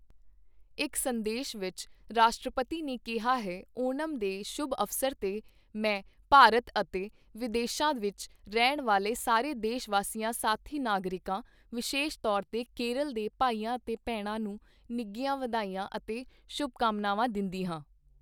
ਇੱਕ ਸੰਦੇਸ਼ ਵਿੱਚ, ਰਾਸ਼ਟਰਪਤੀ ਨੇ ਕਿਹਾ ਹੈ ਓਣਮ ਦੇ ਸ਼ੁਭ ਅਵਸਰ ਤੇ, ਮੈਂ ਭਾਰਤ ਅਤੇ ਵਿਦੇਸ਼ਾਂ ਵਿੱਚ ਰਹਿਣ ਵਾਲੇ ਸਾਰੇ ਦੇਸ਼ਵਾਸੀਆਂ ਸਾਥੀ ਨਾਗਰਿਕਾਂ, ਵਿਸ਼ੇਸ਼ ਤੌਰ ਤੇ ਕੇਰਲ ਦੇ ਭਾਈਆਂ ਅਤੇ ਭੈਣਾਂ ਨੂੰ ਨਿੱਘੀਆਂ ਵਧਾਈਆਂ ਅਤੇ ਸ਼ੁਭਕਾਮਨਾਵਾਂ ਦਿੰਦੀ ਹਾਂ।